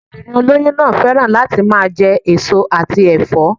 Obìnrin olóyún náà féràn láti máa je èso àti èfó